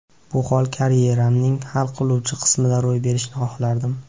Bu hol karyeramning hal qiluvchi qismida ro‘y berishini xohlardim.